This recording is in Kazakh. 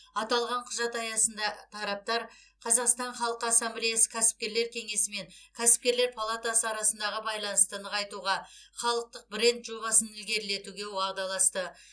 аталған құжат аясында араптар қазақстан халқы ассамблеясы кәсіпкерлер кеңесі мен кәсіпкерлер палатасы арасындағы байланысты нығайтуға халықтық бренд жобасын ілгерілетуге уағдаласты